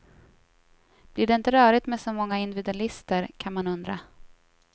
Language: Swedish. Blir det inte rörigt med så många individualister, kan man undra.